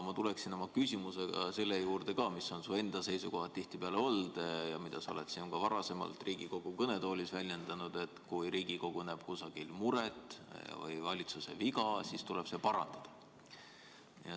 Ma tuleksin oma küsimusega selle juurde ka, mis on tihtipeale su enda seisukoht olnud ja mida sa oled ka varasemalt siin Riigikogu kõnetoolis väljendanud, et kui Riigikogu näeb kusagil muret või valitsuse viga, siis tuleb see parandada.